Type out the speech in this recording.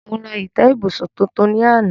Mo ra ìtẹ́ ibùsùn tuntun lánàá.